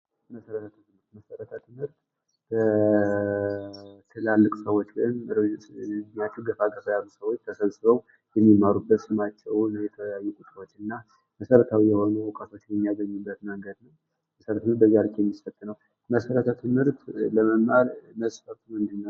መሰረተ ትምህርት የትላልቅ ሰወች ወይም እድሚያቸው ገፋ ገፋ ያሉ ሰወች ተሰብስበው የሚማሩበት እና መሰረታዊ የሆኑ እውቀቶችን የሚያገኙበት ነው። መሰረተ ትምህርት ለመማር መስፈርቱ ምንድን ነው?